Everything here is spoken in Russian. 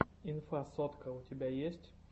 инфасотка у тебя есть